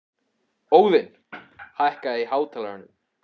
Óðinn, hækkaðu í hátalaranum.